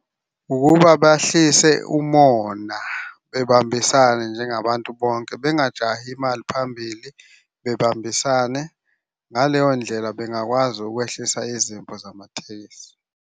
Ukuba bahlise umona, bebambisane njengabantu bonke, bengajahi imali phambili, bebambisane. Ngaleyo ndlela bengakwazi ukwehlisa izimpi zamatekisi.